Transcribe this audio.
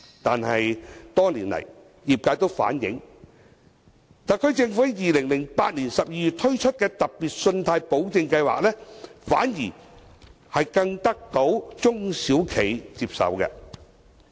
但是，多年來，業界都反映，特區政府在2008年12月推出的"特別信貸保證計劃"，反而更得到中小企的接受。